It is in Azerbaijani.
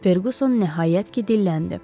Ferquson nəhayət ki, dilləndi.